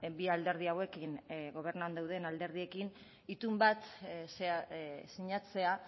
bi alderdi hauekin gobernuan dauden alderdiekin itun bat sinatzea